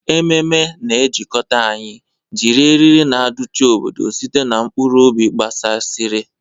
Ememe na-ejikọta anyị, jiri eriri na aduchi obodo site na mkpụrụ obi gbasasịrị.